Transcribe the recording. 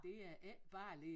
Det er ikke bare lige